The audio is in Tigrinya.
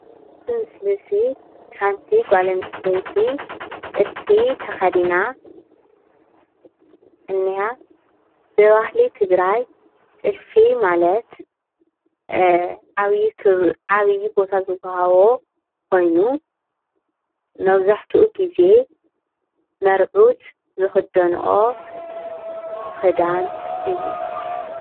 እዚ ምስሊ እዚ ሓንቲ ጓል ኣንስተይቲ ጥልፊ ተከዲና እኒኣ። ብባህሊ ትግራይ ጥልፊ ማለት እ ዓብይ ክብሪ ዓብይ ቦታ ዝወሃቦ ኮይኑ መብዛሕቲኡ ግዜ ሞርዑት ዝኽደንኦ ክዳን እዩ፡፡